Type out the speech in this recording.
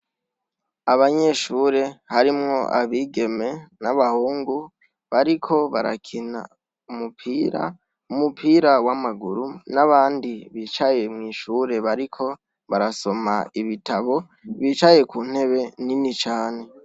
Abanyeshure harimwo abigeme n'abahungu bariko barakina umupira, umupira w'amaguru n'abandi bicaye mw'ishure bariko barasoma ibitabo, bicaye ku ntebe nini cane.